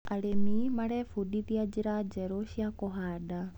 Arĩmi marebundithia njĩra njerũ cia kũhanda.